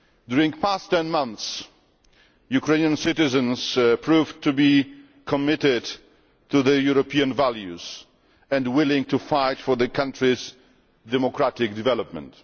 During the past 10 months, Ukrainian citizens proved to be committed to European values and willing to fight for the country's democratic development.